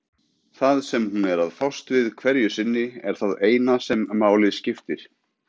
Það sem hún er að fást við hverju sinni er það eina sem máli skiptir.